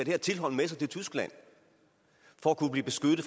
her tilhold med sig til tyskland for at kunne blive beskyttet